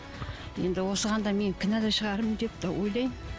енді осыған да мен кінәлі шығармын деп те ойлаймын